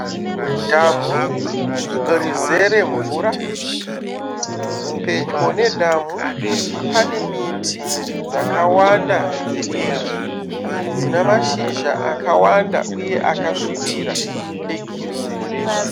Dhamu rizere mvura. Pedyo nedhamu pane miti dzakawanda dzidiki dzina mashizha akawanda uye akasvibira ari egirini.